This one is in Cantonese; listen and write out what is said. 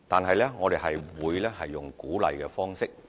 可是，我們會採用鼓勵的方式。